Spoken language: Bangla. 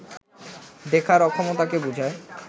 দেখার অক্ষমতাকে বুঝায়